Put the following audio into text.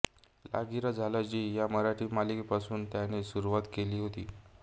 लागिरं झालं जी या मराठी मालिकेपासून त्याने सुरुवात केली होती